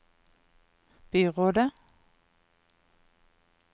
byrådet